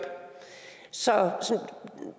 så